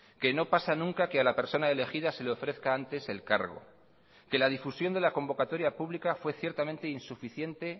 que no pasa nunca que a la persona elegida se le ofrezca antes el cargo que la difusión de la convocatoria pública fue ciertamente insuficiente